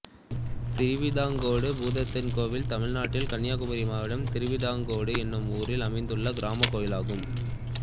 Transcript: திருவிதாங்கோடு பூதத்தான் கோயில் தமிழ்நாட்டில் கன்னியாகுமரி மாவட்டம் திருவிதாங்கோடு என்னும் ஊரில் அமைந்துள்ள கிராமக் கோயிலாகும்